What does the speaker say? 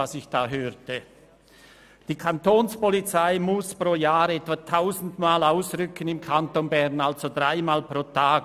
Wegen häuslicher Gewalt rückt die Kantonspolizei Bern jährlich etwa tausendmal aus, also dreimal pro Tag.